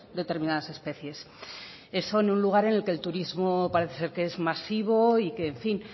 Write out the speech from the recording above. determinadas especies eso en un lugar en el que el turismo parece ser que es masivo y que en fin